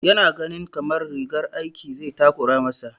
Ya na ganin kamar rigar aikin zai takura ma sa